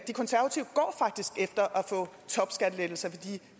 der